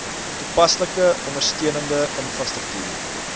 toepaslike ondersteunende infrastruktuur